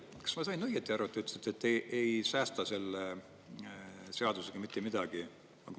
Kas ma sain õieti aru, et te ütlesite, et te ei säästa selle seadusega mitte midagi?